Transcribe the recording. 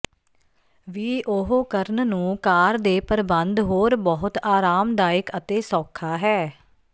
ਵੀ ਉਹ ਕਰਨ ਨੂੰ ਕਾਰ ਦੇ ਪ੍ਰਬੰਧ ਹੋਰ ਬਹੁਤ ਆਰਾਮਦਾਇਕ ਅਤੇ ਸੌਖਾ ਹੈ